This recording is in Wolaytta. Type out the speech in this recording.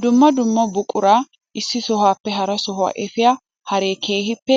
Dumma dumma buqura issi sohuwappe hara sohuwa efiya haree keehippe